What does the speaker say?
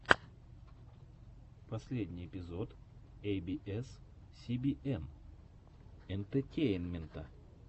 последний эпизод эй би эс си би эн энтетейнмента